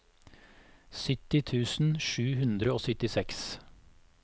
sytti tusen sju hundre og syttiseks